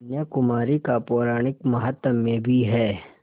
कन्याकुमारी का पौराणिक माहात्म्य भी है